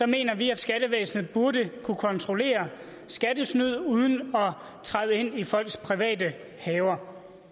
mener vi at skattevæsenet burde kunne kontrollere skattesnyd uden at træde ind i folks private haver